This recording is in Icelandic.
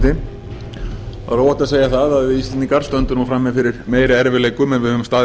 er óhætt að segja það að við íslendingar stöndum nú frammi fyrir meiri erfiðleikum en við höfum staðið